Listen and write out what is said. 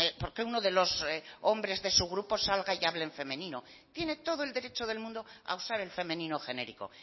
porque uno de los hombres de su grupo salga y hable en femenino tiene todo el derecho del mundo a usar el femenino genérico